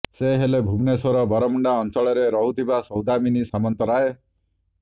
ସେ ହେଲେ ଭୁବନେଶ୍ବର ବରମୁଣ୍ଡା ଅଞ୍ଚଳରେ ରହୁଥିବା ସୌଦାମିନୀ ସାମନ୍ତରାୟ